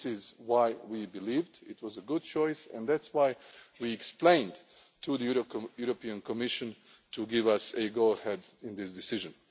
production. This is why we believed it was a good choice, and that is why we explained to the European Commission to give us a go ahead in this